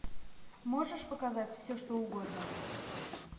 можешь показать все что угодно